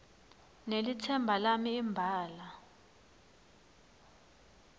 nelitsemba lami imbala